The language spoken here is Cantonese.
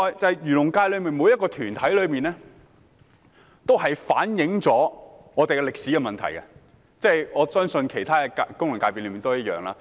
此外，漁農界的每個團體均反映了歷史的問題，我相信其他功能界別亦一樣。